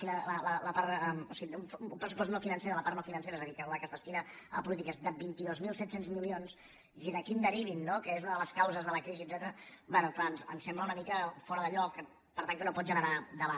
o sigui un pressupost no financer de la part no financera és a dir que la que es destina a polítiques de vint dos mil set cents milions i d’aquí en derivin no que és una de les causes de la crisi etcètera bé és clar ens sembla una mica fora de lloc per tant que no pot generar debat